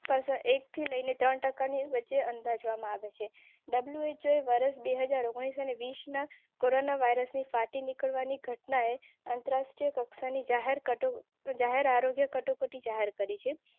એકથી લઈને ત્રણ ટકાની વચ્ચે અંદાજવામાં આવી WHO. ફાટી નીકળવાની ઘટના એ આંતરરાષ્ટ્રીય કક્ષાની. શેર કરી